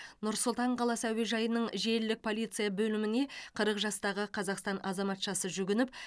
нұр сұлтан қаласы әуежайының желілік полиция бөліміне қырық жастағы қазақстан азаматшасы жүгініп